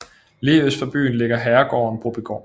Lige øst for byen ligger herregården Brobygård